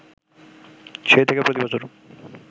সেই থেকে প্রতিবছর